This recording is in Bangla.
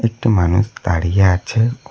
একটা মানুষ দাঁড়িয়ে আছে।